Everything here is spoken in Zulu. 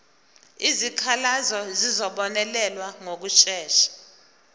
izikhalazo zizobonelelwa ngokushesha